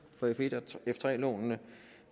for f1 og f3 lånene